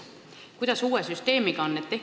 Kuidas uue süsteemi korral on?